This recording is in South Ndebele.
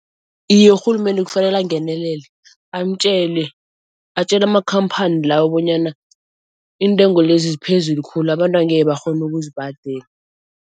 Iye urhulumende kufanele angenelele amtjele, atjele amakhamphani lawo bonyana iintengo lezi ziphezulu khulu abantu angeke bakghone ukuzibhadela.